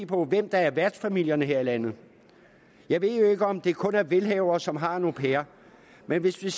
på hvem der er værtsfamilerne her i landet jeg ved jo ikke om det kun er velhavere som har en au pair men hvis jeg